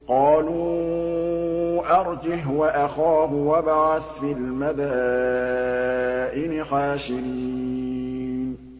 قَالُوا أَرْجِهْ وَأَخَاهُ وَابْعَثْ فِي الْمَدَائِنِ حَاشِرِينَ